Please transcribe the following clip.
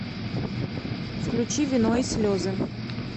включи вино и слезы